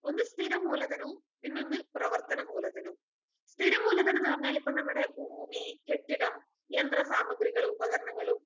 ഒന്ന് സ്ഥിര മൂലധനവും പിന്നൊന്ന് പ്രവർത്തന മൂലധനവും സ്ഥിരം മൂലധനംന്ന് പറഞ്ഞാലിപ്പോ നമ്മടെ ഭൂമി, കെട്ടിടം, യന്ത്ര സാമഗ്രികളുപകരണങ്ങളും